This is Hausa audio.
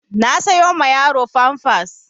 Na sayo ma yaro famfas